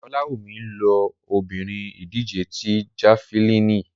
Olawumi lo bori idije ti Jafilini